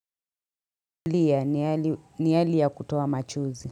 Lia ni hali ya kutoa machozi.